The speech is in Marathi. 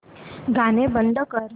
गाणं बंद कर